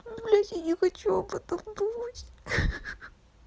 блять я не хочу об этом думать